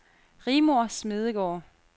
Rigmor Smedegaard